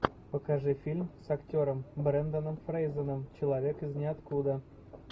покажи фильм с актером бренданом фрейзером человек из ниоткуда